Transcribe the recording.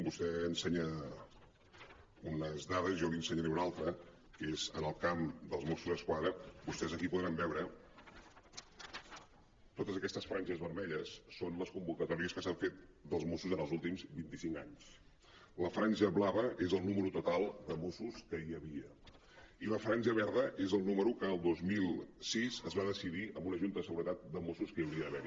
vostè ensenya unes dades jo n’hi ensenyaré una altra que és en el camp dels mossos d’esquadra vostès aquí podran veure totes aquestes franges ver·melles són les convocatòries que s’han fet dels mossos en els últims vint·i·cinc anys la franja blava és el número total de mossos que hi havia i la franja verda és el núme·ro que el dos mil sis es va decidir en una junta de seguretat de mossos que hi hauria d’ha·ver